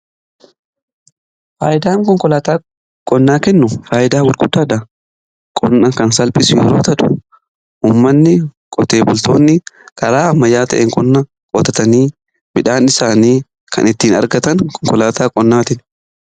Faayidaan konkolaataa qonnaa kennu faayidaa gurgudaadha. Qonna kan salphisu yeroo ta'u ummanni qotee bultoonni karaa ammayyaa ta'een qonnaa qootatanii midhaan isaanii kan ittiin argatan konkolaataa qonnaatiini.